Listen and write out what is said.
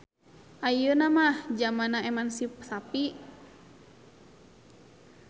Ayenuna mah jamanna emansisapi.